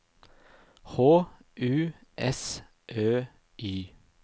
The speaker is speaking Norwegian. H U S Ø Y